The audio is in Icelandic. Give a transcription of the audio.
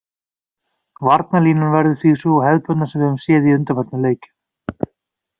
Varnarlínan verður því sú hefðbundna sem við höfum séð í undanförnum leikjum.